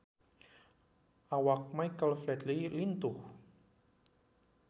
Awak Michael Flatley lintuh